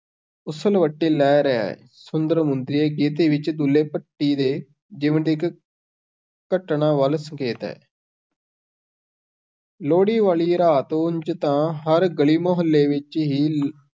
ਉਸਲਵੱਟੇ ਲੈ ਰਿਹਾ ਹੈ, ਸੁੰਦਰ ਮੁੰਦਰੀਏ ਗੀਤ ਵਿੱਚ ਦੁੱਲੇ ਭੱਟੀ ਦੇ ਜੀਵਨ ਦੀ ਇੱਕ ਘਟਨਾ ਵੱਲ ਸੰਕੇਤ ਹੈ ਲੋਹੜੀ ਵਾਲੀ ਰਾਤ ਉੰਞ ਤਾਂ ਹਰ ਗਲੀ-ਮੁਹੱਲੇ ਵਿੱਚ ਹੀ